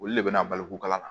Olu le bɛ na baliku kala